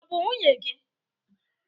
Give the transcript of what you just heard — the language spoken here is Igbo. Ọ bụ nwunye gị?